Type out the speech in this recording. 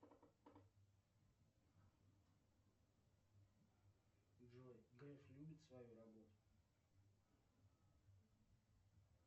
джой греф любит свою работу